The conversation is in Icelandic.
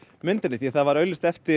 myndinni því það var auglýst eftir